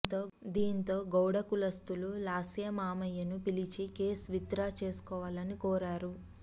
దీంతో గౌడ కులస్తులు లాస్య మామయ్యను పిలిపించి కేసు విత్ డ్రా చేసుకోవాలని కోరారు